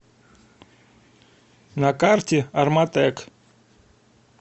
на карте орматек